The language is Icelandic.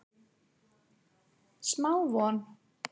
Smá von